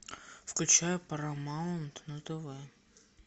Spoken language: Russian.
включай парамаунт на тв